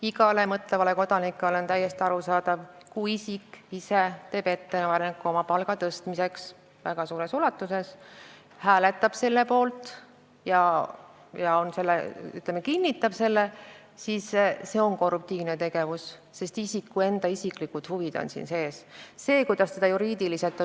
Igale mõtlevale kodanikule on täiesti arusaadav, et kui isik ise teeb ettepaneku oma palga tõstmiseks üsna suures ulatuses, hääletab selle poolt ja osaleb selles otsustusprotsessis, siis see on korruptiivne tegevus, sest isiku enda isiklikud huvid on seal esindatud.